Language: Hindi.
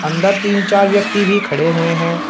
अंदर तीन चार व्यक्ति भी खड़े हुए हैं।